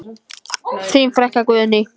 Þín frænka Guðný.